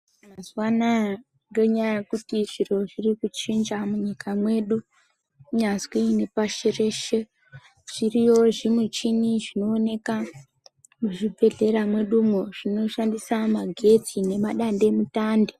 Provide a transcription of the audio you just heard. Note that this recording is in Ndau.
Mazuva anawa ndonyaa yekuti zviro zviri kuchinja munyika mwedu nyazwi nepashi reshe .Zviriyo zvimuchini zvinooneka muzvibhedhlera mwedumwo zvinoshandisa magetsi nemadande mutande.